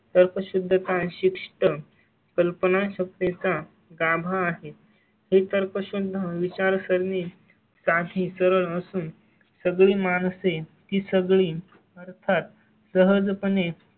तर्कशुद्ध काळ शिष्ट कल्पनाशक्ती चा गाभा आहे हे तर पासून विचारसरणी तील सात ही सर असून सगळी माणसं आहे. ती सगळी अर्थात सहज पण आहे.